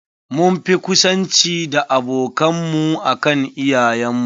Mun fi ƙusanci da abokan mu akan iyayen mu.